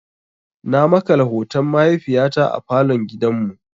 Na makala hoton mahaifiyata a falon gidan mu.